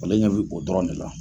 Ale ɲɛ bɛ o dɔrɔn de la.